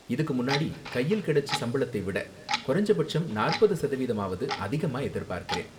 இதுக்கு முன்னாடி கையில் கிடைச்ச சம்பளத்தை விட குறைஞ்ச பட்சம் நாற்பது சதவீதமாவது அதிகமா எதிர்பாக்கறேன்.